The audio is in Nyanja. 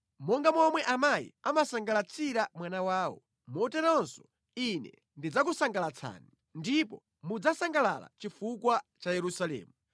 Monga momwe amayi amasangalatsira mwana wawo, moteronso Ine ndidzakusangalatsani; ndipo mudzasangalala chifukwa cha Yerusalemu.”